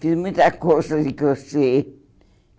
Fiz muita colcha de crochê.